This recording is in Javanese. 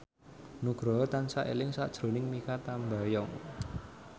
Nugroho tansah eling sakjroning Mikha Tambayong